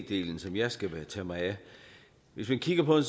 delen som jeg skal tage mig af hvis man kigger på